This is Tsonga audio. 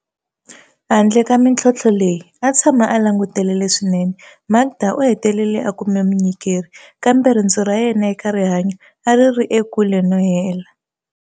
Handle ka mitlhontlho leyi, a tshama a langutele leswinene. Makda u hetelele a kume munyikeri, kambe rendzo ra yena eka rihanyu a ri ri ekule no hela.